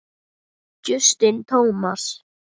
Justin Thomas